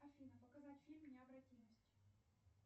афина показать фильм необратимость